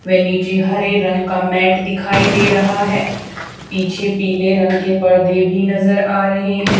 वे नीचे हरे रंग का मैट दिखाई दे रहा है पीछे पीले रंग के पर्दे भी नजर आ रहे हैं।